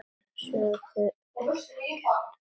Sögðu ekkert.